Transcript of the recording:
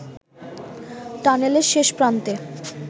টানেলের শেষ প্রান্তে